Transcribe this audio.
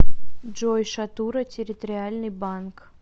джой шатура территориальный банк